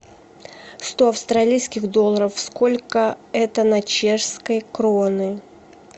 сто австралийских долларов сколько это на чешские кроны